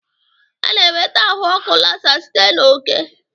A na-enweta ahụ ọkụ Lassa site na oke